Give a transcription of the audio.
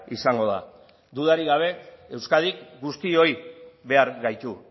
izango da dudarik gabe euskadik guztiok behar gaitu